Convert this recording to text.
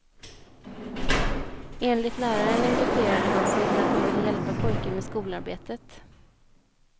Enligt läraren engagerade han sig för att han ville hjälpa pojken med skolarbetet.